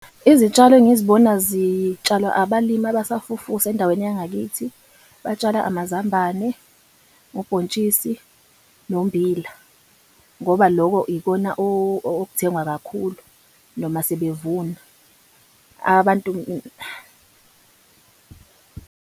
Izitshalo engizibona zitshalwa abalimi abasafufusa endaweni yangakithi. Batshala amazambane, ubhontshisi nommbila ngoba loko ikona okuthengwa kakhulu noma sebevuna. Abantu .